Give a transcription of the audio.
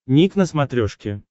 ник на смотрешке